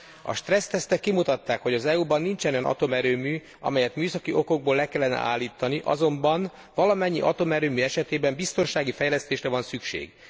A stressztesztek kimutatták, hogy az EU ban nincsen olyan atomerőmű, amelyet műszaki okokból le kellene állítani, azonban valamennyi atomerőmű esetében biztonsági fejlesztésre van szükség.